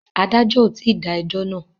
Adájọ́ ò tí dá ẹjọ́ náà.